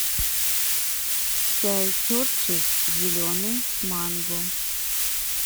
чай кертис зеленый с манго